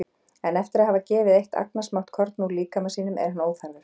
En eftir að hafa gefið eitt agnarsmátt korn úr líkama sínum er hann óþarfur.